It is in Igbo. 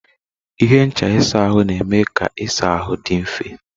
Ihe ncha ịsa ahụ na-eme ka ịsa ahụ dị mfe.